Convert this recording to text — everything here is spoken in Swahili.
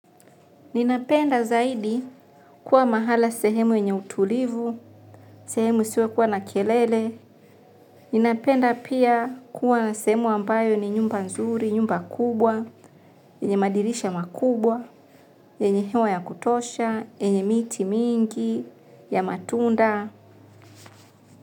Ninapenda zaidi kuwa mahala sehemu yenye utulivu, sehemu hisiwekuwa na kelele. Ninapenda pia kuwa na sehemu ambayo ni nyumba nzuri, nyumba kubwa, yenye madirisha makubwa, yenye hewa ya kutosha, yenye miti mingi, ya matunda.